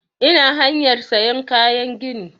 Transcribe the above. Ina hanyar sayan kayan gini